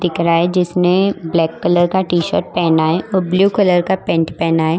दिख रहा है जिस ने ब्लैक कलर का टी शर्ट पहना है और ब्लू कलर का पेंट पहना है।